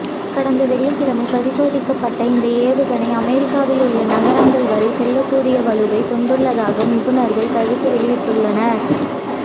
கடந்த வெள்ளிக்கிழமை பரிசோதிக்கப்பட்ட இந்த ஏவுகணை அமெரிக்காவில் உள்ள நகரங்கள் வரை செல்லக்கூடிய வலுவை கொண்டுள்ளதாக நிபுணர்கள் கருத்து வெளியிட்டுள்ளனர்